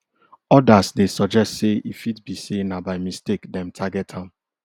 odas dey suggest say e fit be say na by mistake dem target am